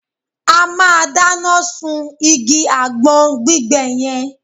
A máa dáná sún igi àgbọn gbígbẹ yẹn